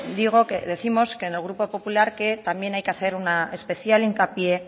décimos que en el grupo popular que también hay que hacer un especial hincapié